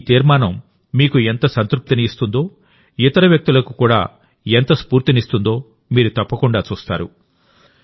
మీ ఈ తీర్మానం మీకు ఎంత సంతృప్తిని ఇస్తుందో ఇతర వ్యక్తులకు ఎంత స్ఫూర్తినిస్తుందో మీరు తప్పకుండా చూస్తారు